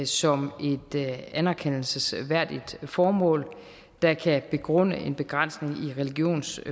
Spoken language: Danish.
som et anerkendelsesværdigt formål der kan begrunde en begrænsning